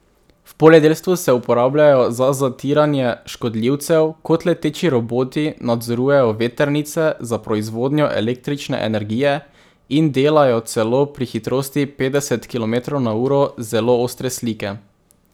V poljedelstvu se uporabljajo za zatiranje škodljivcev, kot leteči roboti nadzorujejo vetrnice za proizvodnjo električne energije in delajo celo pri hitrosti petdeset kilometrov na uro zelo ostre slike.